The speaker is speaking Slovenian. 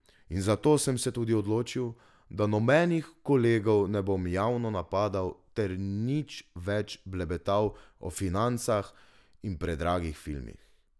In zato sem se tudi odločil, da nobenih kolegov ne bom javno napadal ter nič več blebetal o financah in predragih filmih.